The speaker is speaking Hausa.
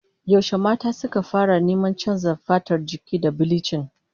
Yaushe mata suka fara neman canza fatar jiki da bilichin?